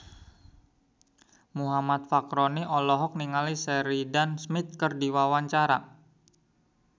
Muhammad Fachroni olohok ningali Sheridan Smith keur diwawancara